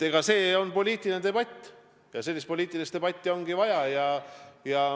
See on poliitiline debatt ja sellist poliitilist debatti ongi vaja.